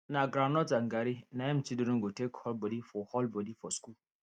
na groundnut and garri na im children go take hold body for hold body for school